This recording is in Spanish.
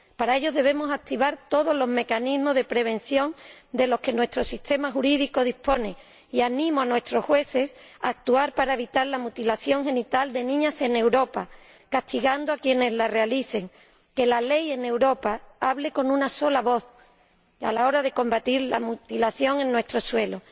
Para ello, debemos activar todos los mecanismos de prevención de que dispone nuestro sistema jurídico y animo a nuestros jueces a actuar para evitar la mutilación genital de niñas en Europa, castigando a quienes la realicen que la ley en Europa hable con una sola voz a la hora de combatir la mutilación en nuestro suelo.